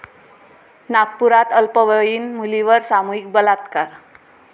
नागपुरात अल्पवयीन मुलीवर सामूहिक बलात्कार